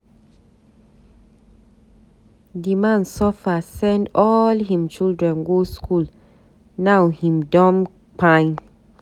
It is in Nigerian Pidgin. Di man suffer send all him children go skool, now him don kpai.